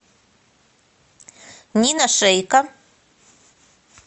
нина шейка